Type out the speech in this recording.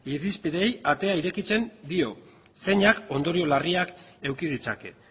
irizpideei atea irekitzen dio zeinak ondorioz larriak eduki ditzake